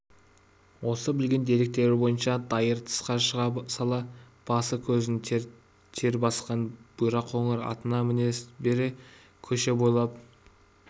осы білген деректері бойынша дайыр тысқа шыға сала басы-көзін тер басқан бұйра қоңыр атына міне бере көше бойлап